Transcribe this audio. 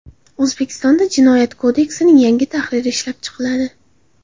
O‘zbekistonda Jinoyat kodeksining yangi tahriri ishlab chiqiladi.